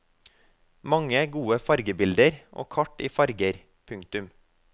Mange gode fargebilder og kart i farger. punktum